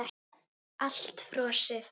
Allt frosið.